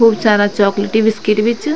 खूब सारा chocolatey biscuit बि च।